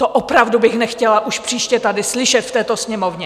To opravdu bych nechtěla už příště tady slyšet v této Sněmovně.